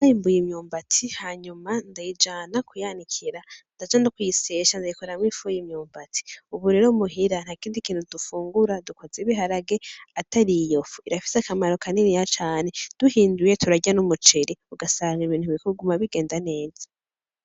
Narimbuye imyumbati hanyuma ndayijana kuyanikira , ndaja no kuyisyesha ndayikoramwo ifu y'imyumbati , ubu rero muhira ntakindi kintu dufungura dukoza ibiharage atariyofu , irafise akamaro kaniniya cane , duhinduye turarya n'umuceri ugasanga Ibintu biguma bigenda neza .